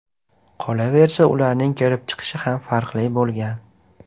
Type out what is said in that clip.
Qolaversa, ularning kelib chiqishi ham farqli bo‘lgan.